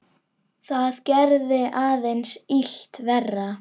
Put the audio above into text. Það gerði aðeins illt verra.